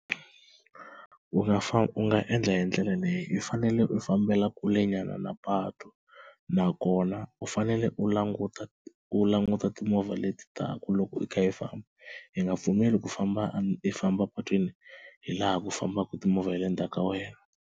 U nga fa u nga endla hi ndlela leyi u fanele u fambela kulenyana na patu nakona u fanele u languta u languta timovha leti taka loko i kha i amba i nga pfumeli ku famba i famba epatwini hi laha ku fambaka timovha hi le ndzhaku ka wena.